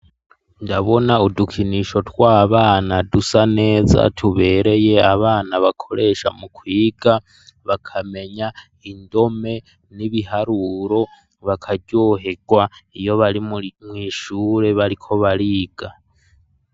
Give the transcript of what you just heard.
Ndabona udukinisho tw'abana dusa neza tubereye abana bakoresha mu kwiga bakamenya indome n'ibiharuro bakaryohegwa iyo bari mw'ishure bariko bariga.